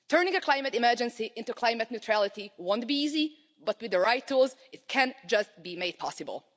Turning a climate emergency into climate neutrality won't be easy, but with the right tools it can just be made possible.